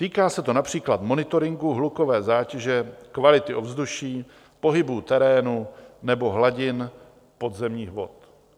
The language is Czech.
Týká se to například monitoringu hlukové zátěže, kvality ovzduší, pohybu terénu nebo hladin podzemních vod.